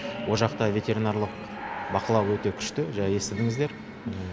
ол жақта ветеринарлық бақылау өте күшті естідіңіздер